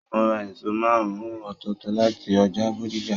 Mo ra èso márùn-ùn ọ́tọ́ọtọ́ láti ọjà Bódìjà.